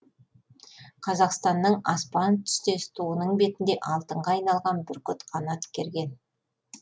қазақстанның аспан түстес туының бетінде алтынға айналған бүркіт қанат керген